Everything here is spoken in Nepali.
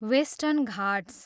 वेस्टर्न घाट्स